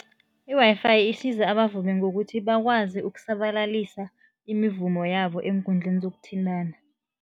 I-Wi-Fi isiza abavumi ngokuthi bakwazi ukusabalalisa imivumo yabo eenkundleni zokuthintana.